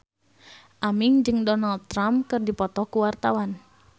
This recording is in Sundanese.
Aming jeung Donald Trump keur dipoto ku wartawan